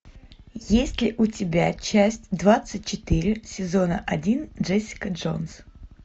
есть ли у тебя часть двадцать четыре сезона один джессика джонс